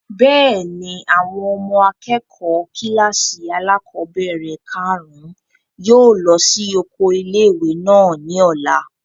Bẹ́ẹ̀ni, àwọn ọmọ akẹ́kọ̀ọ́ kílàsì alákọ́bẹ̀rẹ̀ kàrún yóò lọ sí oko ilé-ìwé náà ní ọ̀la